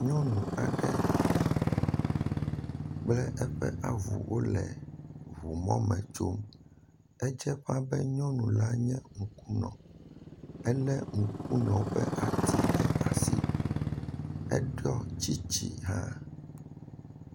Nyɔnu aɖe kple eƒe avu wole ʋumɔ me tsom. Edze ƒãa be nyɔnua nye ŋku nɔ. Ele ŋkunɔwɔ ƒe ati ɖe asi. Eɖɔ tsitsi hã